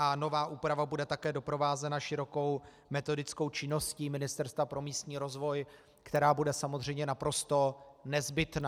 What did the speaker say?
A nová úprava bude také doprovázena širokou metodickou činností Ministerstva pro místní rozvoj, která bude samozřejmě naprosto nezbytná.